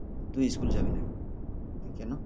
তুই school যাবিনা কী কেনো